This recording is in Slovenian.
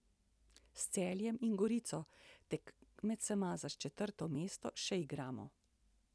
S Celjem in Gorico, tekmecema za četrto mesto, še igramo.